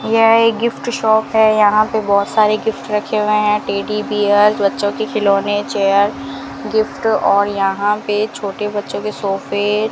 यह एक gift shop है यहां पे बहुत सारे गिफ्ट रखे हुए हैं टेडी बियर बच्चों के खिलौने चेयर गिफ्ट और यहां पे छोटे बच्चों के सोफे --